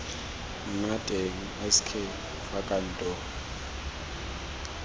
nna teng sk fa kantoro